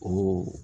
Olu